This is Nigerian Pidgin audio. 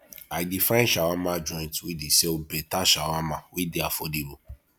i dey find shawama joint wey dey sell beta shawama wey dey affordable